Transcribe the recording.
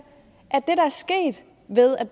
at